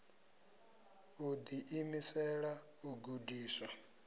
u ḓi imisela u gudiswa